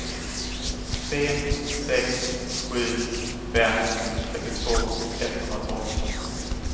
tre sex sju fem trettiotvå etthundratolv